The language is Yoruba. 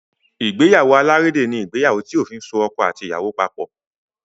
Ìgbéyàwó alárédè ní ìgbéyàwó tí òfin so ọkọ àti ìyàwó papọ̀.